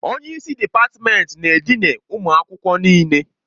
Onye isi dịpatmenti na-edina ụmụ akwụkwọ n'ike.